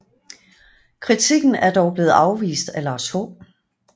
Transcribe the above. Kritikken er dog blevet afvist af Lars H